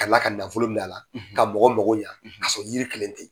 Kala ka mɔgɔw mako ɲƐ a la k'a sɔrɔ jiri kelen tɛ yen